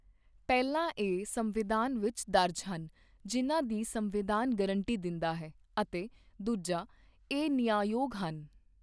ਪਹਿਲਾ ਇਹ ਸੰਵਿਧਾਨ ਵਿੱਚ ਦਰਜ ਹਨ ਜਿਨ੍ਹਾਂ ਦੀ ਸੰਵਿਧਾਨ ਗਰੰਟੀ ਦਿੰਦਾ ਹੈ ਅਤੇ ਦੂਜਾ ਇਹ ਨਿਆਂਯੋਗ ਹਨ।